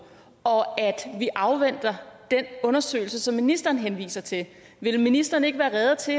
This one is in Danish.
og at vi afventer den undersøgelse som ministeren henviser til vil ministeren ikke være rede til